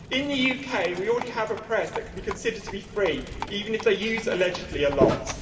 In the UK, we already have a press that can be considered to be free, even if they use allegedly' a lot.